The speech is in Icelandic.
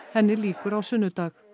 henni lýkur á sunnudag